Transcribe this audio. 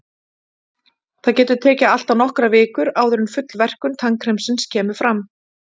Það getur tekið allt að nokkrar vikur áður en full verkun tannkremsins kemur fram.